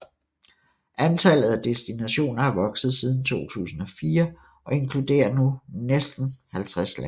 Antallet af destinationer er vokset siden 2004 og inkludere nu næste 50 lande